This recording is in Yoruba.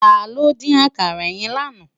Tàló din àkàrá yèn láná?